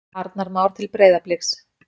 Arnar Már til Breiðabliks